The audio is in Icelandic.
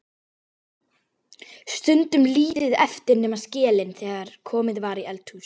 Stundum lítið eftir nema skelin þegar komið var í eldhús.